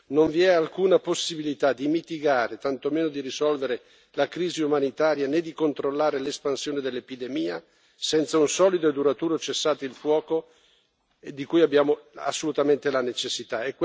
Non vi è alcuna possibilità di mitigare, tanto meno di risolvere la crisi umanitaria né di controllare l'espansione dell'epidemia senza un solido e duraturo cessate il fuoco, di cui abbiamo assolutamente la necessità.